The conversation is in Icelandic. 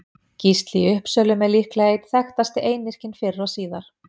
Gísli í Uppsölum er líklega einn þekktasti einyrkinn fyrr og síðar.